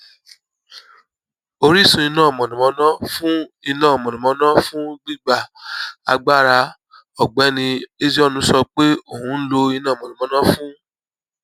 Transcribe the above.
orísun iná mànàmáná fún iná mànàmáná fún gbigba agbara ògbéni ezeonu sọ pé òun ń lo iná mànàmáná fún